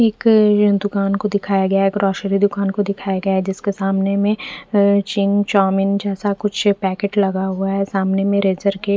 एक दूकान को दिखाई गया है ग्रोसरी दुकान को दिखाई गया है जिसके सामने मे चिंग चाउमीन जैसा कुछ पैकेट लगा हुआ है सामने मे लेज़र के--